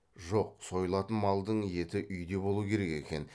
жоқ сойылатын малдың еті үйде болу керек екен